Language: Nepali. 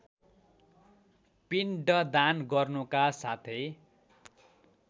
पिण्डदान गर्नुका साथै